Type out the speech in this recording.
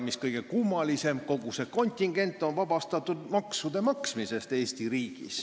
Mis kõige kummalisem, kogu see kontingent on Eesti riigis vabastatud maksude maksmisest.